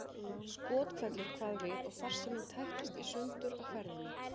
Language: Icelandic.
Skothvellur kvað við og farsíminn tættist í sundur á ferðinni.